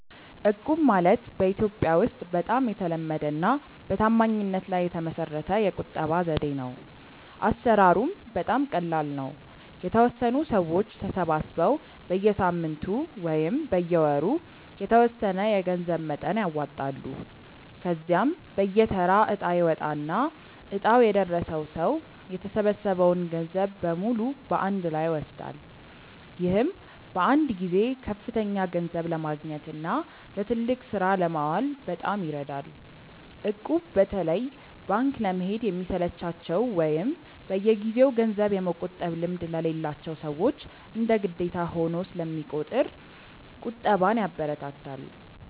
እቁብ ማለት በኢትዮጵያ ውስጥ በጣም የተለመደና በታማኝነት ላይ የተመሰረተ የቁጠባ ዘዴ ነው። አሰራሩም በጣም ቀላል ነው፤ የተወሰኑ ሰዎች ተሰባስበው በየሳምንቱ ወይም በየወሩ የተወሰነ የገንዘብ መጠን ያዋጣሉ። ከዚያም በየተራ እጣ ይወጣና እጣው የደረሰው ሰው የተሰበሰበውን ገንዘብ በሙሉ በአንድ ላይ ይወስዳል። ይህም በአንድ ጊዜ ከፍተኛ ገንዘብ ለማግኘትና ለትልቅ ስራ ለማዋል በጣም ይረዳል። እቁብ በተለይ ባንክ ለመሄድ ለሚሰለቻቸው ወይም በየጊዜው ገንዘብ የመቆጠብ ልምድ ለሌላቸው ሰዎች እንደ ግዴታ ሆኖ ስለሚቆጥር ቁጠባን ያበረታታል።